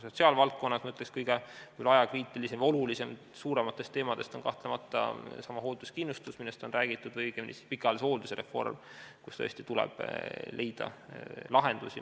Sotsiaalvaldkonnas, ma ütleks, kõige ajakriitilisem ja olulisem suurematest teemadest on kahtlemata seesama hoolduskindlustus, millest on räägitud, või õigemini pikaajalise hoolduse reform, kus tuleb leida lahendusi.